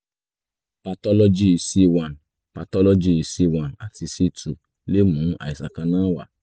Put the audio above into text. patọ́lọ́jì c one patọ́lọ́jì c one àti c two lè mú àìsàn kan náà wá